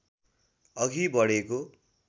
अघि बढेको